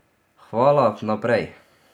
Hvala vnaprej.